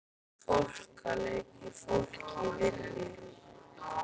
Fólk að leika fólk í vinnu.